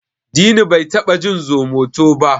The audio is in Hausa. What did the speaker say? Dini bai taba jin Zomoto ba da.